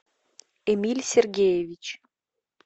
эмиль сергеевич